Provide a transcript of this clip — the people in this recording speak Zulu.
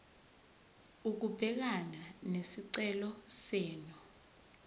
ukubhekana nesicelo senu